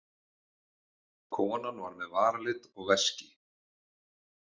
Konan var með varalit og veski.